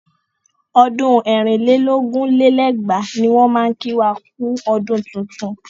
Ọdún ẹ̀rin lé lógún lé lẹ́gbàá ní wọ́n máa kí wa kú ọdún tuntun.